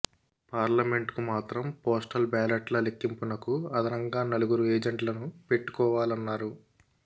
పార్లమెంట్కు మాత్రం పోస్టల్ బ్యాలెట్ల లెక్కింపునకు అదనంగా నలుగురు ఏజెంట్లను పెట్టుకోవాలన్నారు